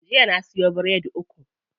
Jiya na siyo biredi uku.